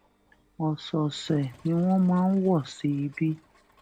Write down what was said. òsòòsè ni wón máa ń wọ sí ibi